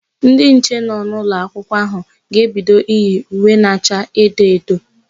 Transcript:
Ndị nche nọ n'ụlọakụ áhụ̀ ga-ebido iyi uwe na acha edo edo.